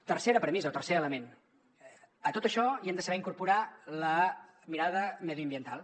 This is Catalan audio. tercera premissa o tercer element a tot això hi hem de saber incorporar la mirada mediambiental